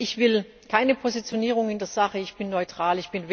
Ich will keine Positionierung in der Sache, ich bin neutral.